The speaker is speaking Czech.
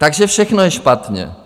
Takže všechno je špatně.